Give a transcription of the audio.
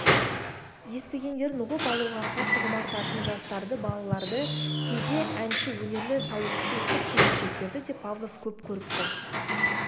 естігендерін ұғып алуға қатты құмартатын жастарды балаларды кейде әнші өнерлі сауықшыл қыз-келіншектерді де павлов көп көріпті